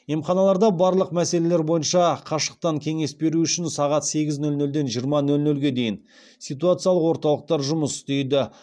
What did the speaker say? емханаларда барлық мәселелер бойынша қашықтан кеңес беру үшін сағат сегіз нөл нөлден жиырма нөл нөлге дейін ситуациялық орталықтар жұмыс істейді